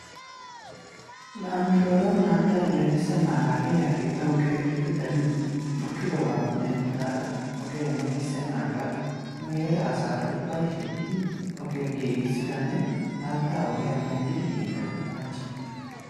La nu shooron haattay hemetissennaaaga iray ha giddon keehippe darin bukkidoogaappe denddidaagan ogee hemetissenaagaa nu heera asaara ubbay shiiqidi ogiya giigisidanne haatta ogiya medhdhidi yiida hachchi.